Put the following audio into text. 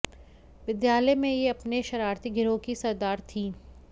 विद्यालय में ये अपने शरारती गिरोह की सरदार थीं